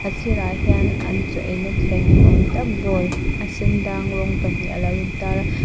a sîrah hian an chaw eina thleng ni awm tak bowl a sen dang rawng pahnih alo in tar a.